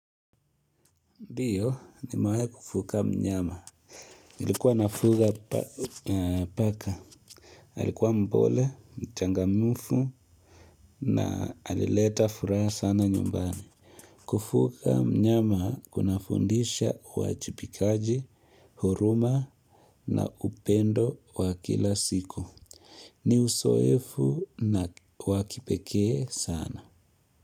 Ndiyo nimewahi kufuga mnyama. Ilikuwa nafuga paka. Alikuwa mpole, mchangamfu na alileta furaha sana nyumbani. Kufuga mnyama kuna fundisha awajibikaji, huruma na upendo wa kila siku. Ni uzoefu na wa kipekee sana.